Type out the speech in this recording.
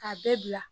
K'a bɛɛ bila